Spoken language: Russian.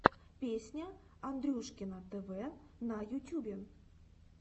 песня андрюшкино тв на ютюбе